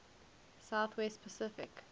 south west pacific